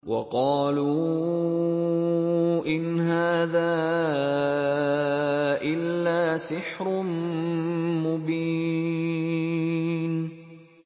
وَقَالُوا إِنْ هَٰذَا إِلَّا سِحْرٌ مُّبِينٌ